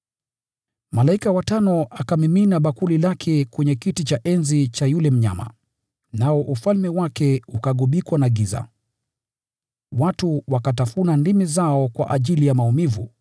Malaika wa tano akamimina bakuli lake kwenye kiti cha enzi cha yule mnyama, nao ufalme wake ukagubikwa na giza. Watu wakatafuna ndimi zao kwa ajili ya maumivu,